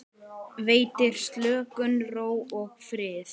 Veitir slökun, ró og frið.